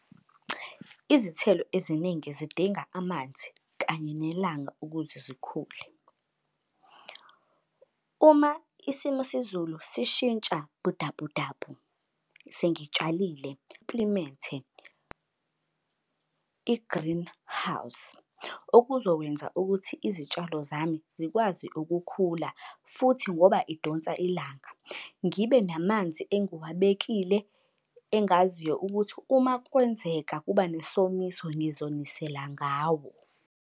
Izithelo eziningi zidinga amanzi kanye nelanga ukuze zikhule. Uma isimo sezulu sishintsha sengitshalile i-greenhouse okuzokwenza ukuthi izitshalo zami zikwazi ukukhula futhi ngoba idonsa ilanga. Ngibe namanzi engiwabekile engaziyo ukuthi uma kwenzeka kuba nesomiso ngizonisela ngawo.